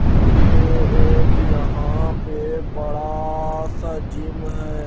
ये एक यहां पे बड़ा सा जिम है।